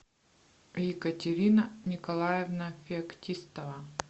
екатерина николаевна феоктистова